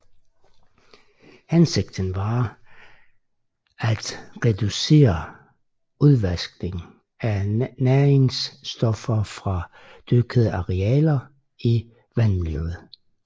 Hensigten var at at reducere udvaskningen af næringsstoffer fra dyrkede arealer til vandmiljøet